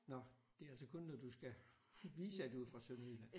Nåh det er altså kun når du skal vise at du er fra Sønderjylland